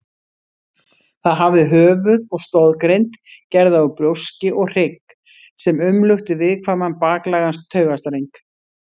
Það hafði höfuð og stoðgrind gerða úr brjóski og hrygg sem umlukti viðkvæman baklægan taugastreng.